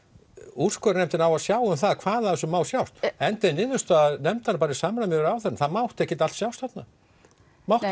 úrskurðarnefndin á að sjá um það hvað af þessu má sjást niðurstaða er bara í samræmi við ráðherra það mátti ekkert allt sjást þarna mátti